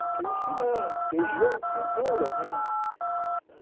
Tem que ir ensinando, tem jogo de cintura, né?